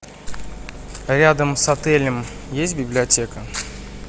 рядом с отелем есть библиотека